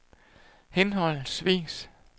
henholdsvis